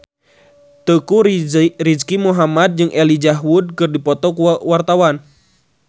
Teuku Rizky Muhammad jeung Elijah Wood keur dipoto ku wartawan